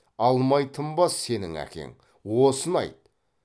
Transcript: алмай тынбас сенің әкең осыны айт